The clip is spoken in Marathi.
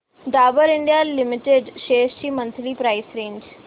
डाबर इंडिया लिमिटेड शेअर्स ची मंथली प्राइस रेंज